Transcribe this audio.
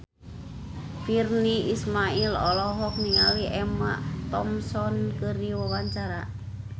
Virnie Ismail olohok ningali Emma Thompson keur diwawancara